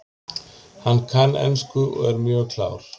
Hann kann ensku og er mjög klár.